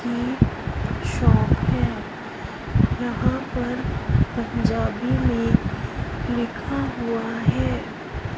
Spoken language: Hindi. ये शॉप है यहां पर पंजाबी में लिखा हुआ है।